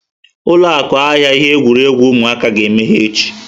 Ụlọ ahịa ihe egwuregwu ụmụaka ga-emeghe echi.